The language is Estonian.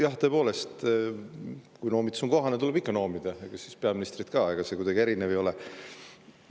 Jah, tõepoolest, kui noomitus on kohane, tuleb ikka noomida, peaministrit ka, ega tema kuidagi erinev ei ole.